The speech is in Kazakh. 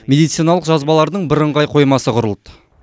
медициналық жазбалардың бірыңғай қоймасы құрылды